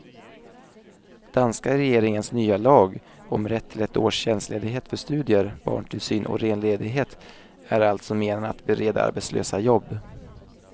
Danska regeringens nya lag om rätt till ett års tjänstledighet för studier, barntillsyn och ren ledighet är också menad att bereda arbetslösa jobb.